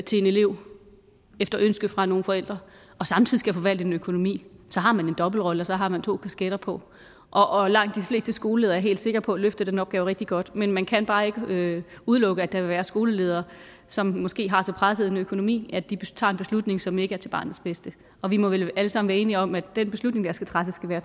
til en elev efter ønske fra nogle forældre og samtidig skal forvalte en økonomi så har man en dobbeltrolle og så har man to kasketter på og og langt de fleste skoleledere er jeg helt sikker på løfter den opgave rigtig godt men man kan bare ikke udelukke at der vil være skoleledere som måske har så presset en økonomi at de tager en beslutning som ikke er til barnets bedste og vi må vel alle sammen være enige om at den beslutning der skal træffes skal være